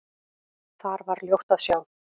Þar var ljótt að sjá.